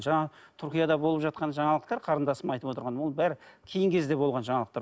жаңағы түркияда болып жатқан жаңалықтар қарындасым айтып отырған оның бәрі кейінгі кезде болған жаңалықтар